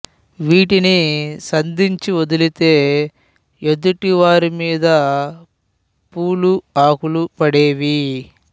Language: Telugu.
వీటిని సంధించి వదిలితే ఎదుటి వారి మీద పూలూ ఆకులు పడేవి